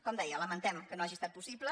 com deia lamentem que no hagi estat possible